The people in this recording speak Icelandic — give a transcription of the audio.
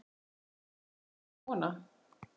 Ég var ekki kona!